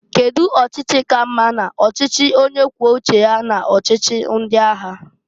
Kedu ọchịchi ka mma n'ọchịchị onye kwuo uche ya n'ọchịchị ndị agha?